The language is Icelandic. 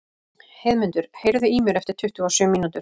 Heiðmundur, heyrðu í mér eftir tuttugu og sjö mínútur.